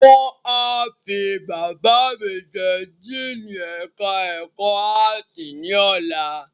Wọ́n a fi Bàbá mi jẹ Díìnì ẹ̀ka ẹ̀kọ́ áàtì ní ọ̀la